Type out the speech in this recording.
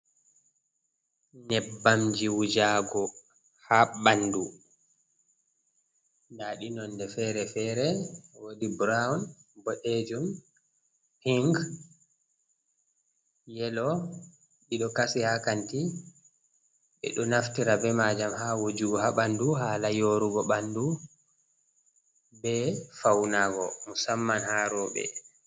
Nyebbamji wujago ha ɓandu. Nda ɗi nonde fere-fere wodi brown, boɗejum, pink, yellow. Ɗiɗo kasi ha kanti. Ɓeɗo naftira be majam ha wojugo ha ɓandu hala yorugo ɓandu be faunago musamman ha roɓe.